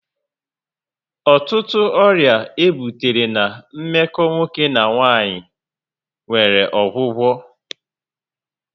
Ọtụtụ ọrịa e butere na meko nwoke na nwanyị nwere ọgwụgwọ